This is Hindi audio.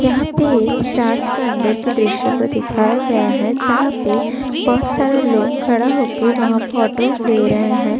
यहाँ पे एक चार्च का अंदर के दृश्य को दिखाया गया है। जहाँ पे बहोत सारा लोग खड़ा होके वहाँ फोटो ले रहे हैं।